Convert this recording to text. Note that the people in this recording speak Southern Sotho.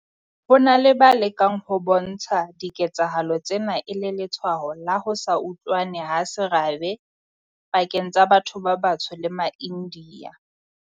Ho na le ba lekang ho bontsha diketsahalo tsena e le letshwao la ho se utlwane ha serabe pakeng tsa batho ba batsho le maIndiya.